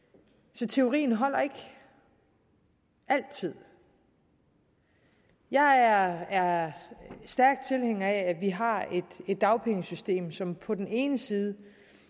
så teorien holder ikke altid jeg er stærk tilhænger af at vi har et dagpengesystem som på den ene side